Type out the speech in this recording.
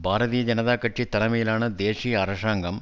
பாரதீய ஜனதா கட்சி தலைமையிலான தேசிய அரசாங்கம்